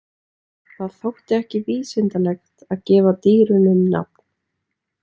Það þótti ekki vísindalegt að gefa dýrunum nafn.